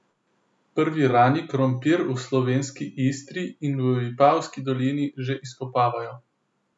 Prvi rani krompir v slovenski Istri in v Vipavski dolini že izkopavajo.